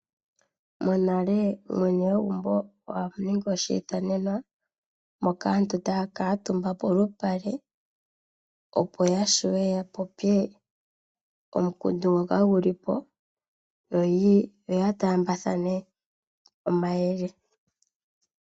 Monale mwene gwegumbo oha ningi oshiithanenwa moka aantu taya kuutumba polupale opo ya vule ya popye omukundu ngoka guli po yo ya taambathane omayele.